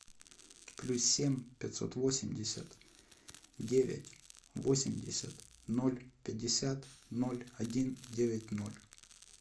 плюс семь пятьсот восемьдесят девять восемьдесят ноль пятьдесят ноль один девять ноль